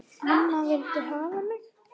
Amma vildi hafa mig.